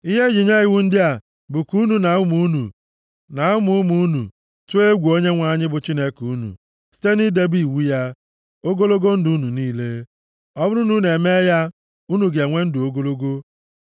Ihe e ji nye iwu ndị a bụ ka unu na ụmụ unu, na ụmụ ụmụ unu, tụọ egwu Onyenwe anyị bụ Chineke unu, site nʼidebe iwu ya, ogologo ndụ unu niile. Ọ bụrụ na unu emee ya, unu ga-enwe ndụ ogologo.